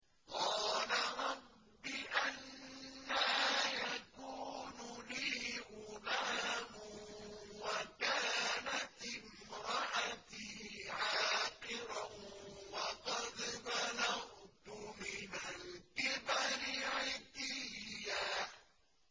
قَالَ رَبِّ أَنَّىٰ يَكُونُ لِي غُلَامٌ وَكَانَتِ امْرَأَتِي عَاقِرًا وَقَدْ بَلَغْتُ مِنَ الْكِبَرِ عِتِيًّا